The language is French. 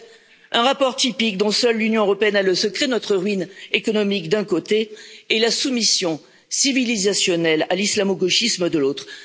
Bref un rapport typique dont seule l'Union européenne a le secret notre ruine économique d'un côté et la soumission civilisationnelle à l'islamo gauchisme, de l'autre.